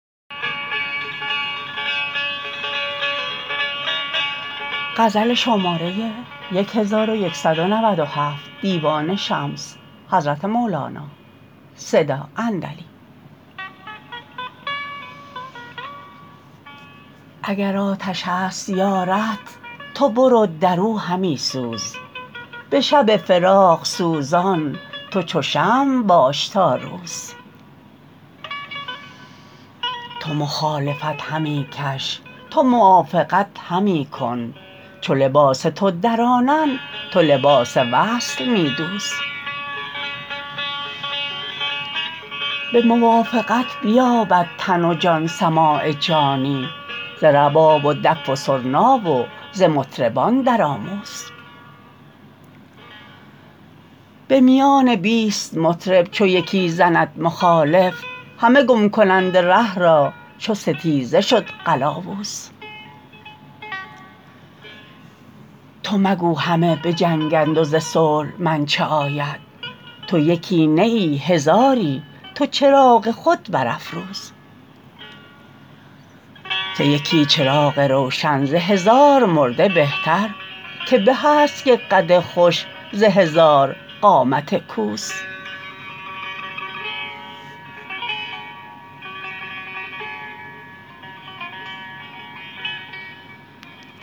اگر آتش است یارت تو برو در او همی سوز به شب فراق سوزان تو چو شمع باش تا روز تو مخالفت همی کش تو موافقت همی کن چو لباس تو درانند تو لباس وصل می دوز به موافقت بیابد تن و جان سماع جانی ز رباب و دف و سرنا و ز مطربان درآموز به میان بیست مطرب چو یکی زند مخالف همه گم کنند ره را چو ستیزه شد قلاوز تو مگو همه به جنگند و ز صلح من چه آید تو یکی نه ای هزاری تو چراغ خود برافروز که یکی چراغ روشن ز هزار مرده بهتر که به است یک قد خوش ز هزار قامت کوز